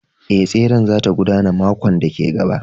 Ee, tseren za ta gudana makon da ke gaba